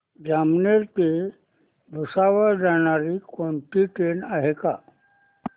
जामनेर ते भुसावळ जाणारी कोणती ट्रेन आहे का